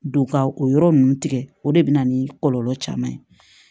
Don ka o yɔrɔ ninnu tigɛ o de bɛ na ni kɔlɔlɔ caman ye